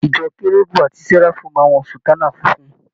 Ìjọ kérúbù ati séráfù máa ń wọ sùtánà funfun.